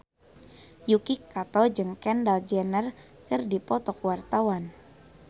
Yuki Kato jeung Kendall Jenner keur dipoto ku wartawan